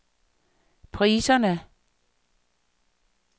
priserne